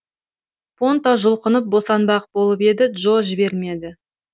понта жұлқынып босанбақ болып еді джо жібермеді